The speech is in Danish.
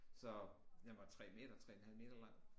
Så den var 3 meter 3 en halv meter lang